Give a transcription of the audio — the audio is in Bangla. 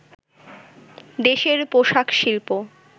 দেশের পোশাক শিল্প